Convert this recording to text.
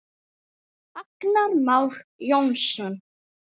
Agnar Már Jónsson